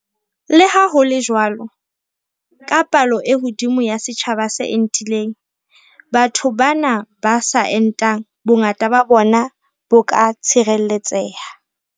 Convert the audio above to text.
Le ha ho le jwalo, ka palo e hodimo ya setjhaba se entileng, batho bana ba sa entang, bongata ba bona bo ka tshireletseha.